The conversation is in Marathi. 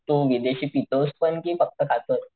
म तू विदेशी पितोस पण कि फक्त खातोस?